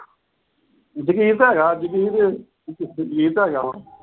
ਜਗੀਰ ਤਾਂ ਹੈਗਾ। ਜਗੀਰ ਅਹ ਜਗੀਰ ਤਾਂ ਹੈਗਾ ਹੁਣ।